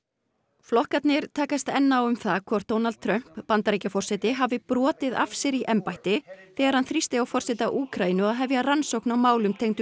flokkarnir takast enn á um það hvort Donald Trump Bandaríkjaforseti hafi brotið af sér í embætti þegar hann þrýsti á forseta Úkraínu að hefja rannsókn á málum tengdum